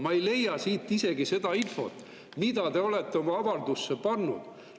Ma ei leia siit isegi seda infot, mille te olete oma avaldusse pannud.